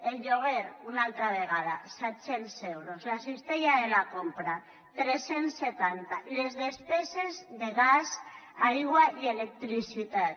el lloguer una altra vegada set cents euros la cistella de la compra tres cents i setanta les despeses de gas aigua i electricitat